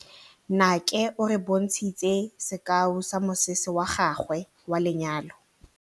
Nnake o re bontshitse sekaô sa mosese wa gagwe wa lenyalo.